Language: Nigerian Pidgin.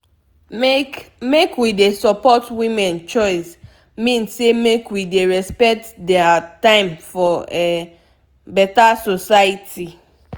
make make we dey support women choice mean say make we dey respect dem time for um beta society